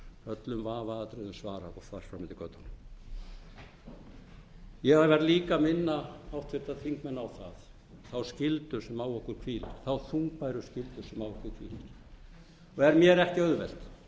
öllum vafaatriðum svarað og þar fram eftir götunum ég verð líka að minna háttvirtir þingmenn á þá þungbæru skyldu sem á okkur hvílir og er mér ekki auðvelt þvert